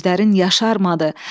heç gözlərin yaşarmadı.